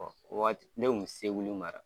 o waati ne kun bɛ seguli mara.